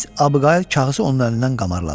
Miss Abqayl kağızı onun əlindən qamarladı.